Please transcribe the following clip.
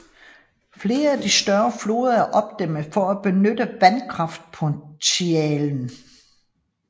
Flere af de største floder er opdæmmede for at udnytte vandkraftpotentialet